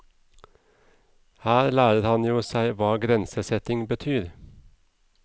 Her lærer han jo seg hva grensesetting betyr.